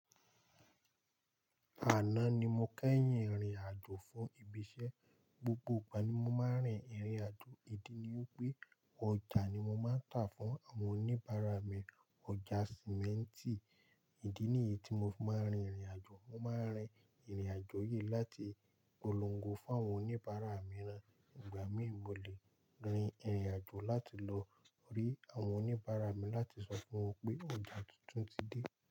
Àná ni mo kẹ́yìn rìnrìn àjò fún ibi iṣẹ́. Gbogbo ìgbà ni mo máa ń rin ìrìn àjò. Ìdí ni wípé ọjà ni mo máa ń tà fún àwọn oníbàárà mi. Ọjà Sìmẹ́ntì. Ìdí nìyí tí mo máa ń rin ìrìn àjò. Mo máa ń rin ìrìn àjò yìí láti polongo fún àwọn oníbàárà mi rán. Ìgbà míì, mo lè rin ìrìn àjò láti lọ rí àwọn oníbàárà mi láti sọ fún wọn pé ọjà tuntun ti dé.